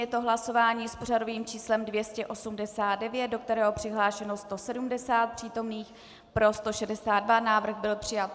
Je to hlasování s pořadovým číslem 289, do kterého přihlášeno 170 přítomných, pro 162, návrh byl přijat.